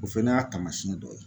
O fɛnɛ y'a taamasiyɛn dɔ ye